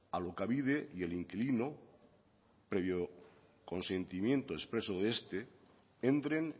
alokabide y el inquilino previo consentimiento expreso de este entren